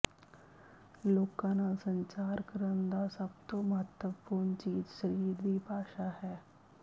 ਲੋਕਾਂ ਨਾਲ ਸੰਚਾਰ ਕਰਨ ਦਾ ਸਭ ਤੋਂ ਮਹੱਤਵਪੂਰਨ ਚੀਜ਼ ਸਰੀਰ ਦੀ ਭਾਸ਼ਾ ਹੈ